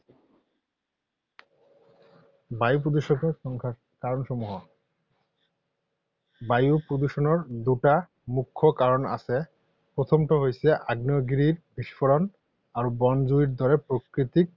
বায়ু প্ৰদূষণৰ কাৰণসমূহ। বায়ু প্ৰদূষণৰ দুটা মুখ্য কাৰণ আছে। প্ৰথমটো হৈছে আগ্নেয়গিৰিৰ বিস্ফোৰণ আৰু বনজুইৰ দৰে প্ৰাকৃতিক